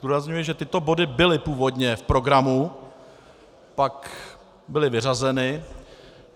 Zdůrazňuji, že tyto body byly původně v programu, pak byly vyřazeny.